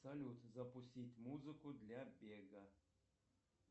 салют запустить музыку для бега